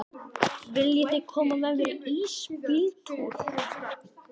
Viljiði koma með í ísbíltúr?